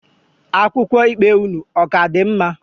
Akwụkwọ ikpe unu, ọ ka dị mma?